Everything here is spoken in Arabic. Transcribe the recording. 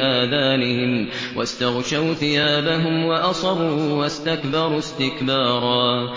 آذَانِهِمْ وَاسْتَغْشَوْا ثِيَابَهُمْ وَأَصَرُّوا وَاسْتَكْبَرُوا اسْتِكْبَارًا